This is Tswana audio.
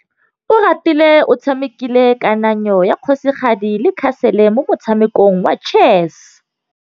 Oratile o tshamekile kananyô ya kgosigadi le khasêlê mo motshamekong wa chess.